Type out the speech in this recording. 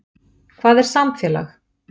Hvað er samfélag?